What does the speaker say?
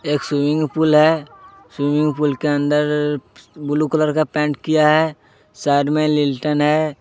एक स्विमिंगपूल है स्विमिंगपूल के अंदर फू ब्लू कलर का पेंट किया है साइड में लीलटेन है।